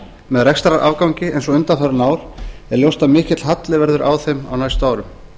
með rekstrarafgangi eins og undanfarin ár er ljóst að mikill halli verður á þeim á næstu árum